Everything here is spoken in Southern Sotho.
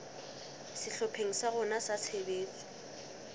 sehlopheng sa rona sa tshebetso